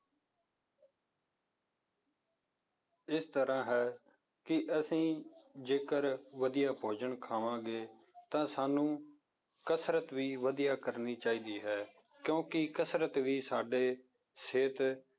ਇਸ ਤਰ੍ਹਾਂ ਹੈ ਕਿ ਅਸੀਂ ਜੇਕਰ ਵਧੀਆ ਭੋਜਨ ਖਾਵਾਂਗੇ ਤਾਂ ਸਾਨੂੰ ਕਸ਼ਰਤ ਵੀ ਵਧੀਆ ਕਰਨੀ ਚਾਹੀਦੀ ਹੈ, ਕਿਉਂਕਿ ਕਸ਼ਰਤ ਵੀ ਸਾਡੇ ਸਿਹਤ